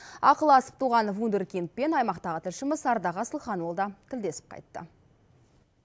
ақылы асып туған вундеркиндпен аймақтағы тілшіміз ардақ асылханұлы да тілдесіп қайтты